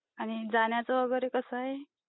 आणि जाण्याचा वगैरे कसा आहे?